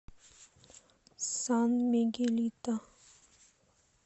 сан мигелито